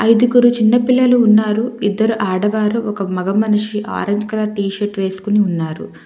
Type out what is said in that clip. ఐదుగురు చిన్న పిల్లలు ఉన్నారు ఇద్దరు ఆడవారు ఒక మగ మనిషి ఆరెంజ్ కలర్ టీషర్ట్ వేసుకొని ఉన్నారు.